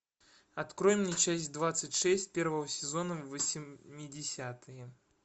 открой мне часть двадцать шесть первого сезона восьмидесятые